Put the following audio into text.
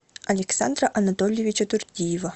александра анатольевича турдиева